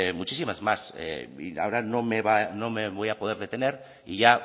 muchísimas más ahora no me voy a poder detener y ya